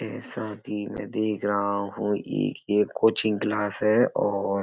जैसा कि मैं देख रहा हूँ ये एक कोचिंग क्लास है और --